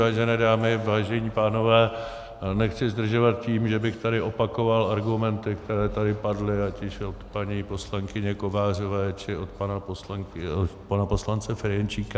Vážené dámy, vážení pánové, nechci zdržovat tím, že bych tady opakoval argumenty, které tady padly ať již od paní poslankyně Kovářové, či od pana poslance Ferjenčíka.